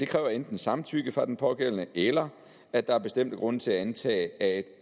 kræver enten samtykke fra den pågældende eller at der er bestemte grunde til at antage at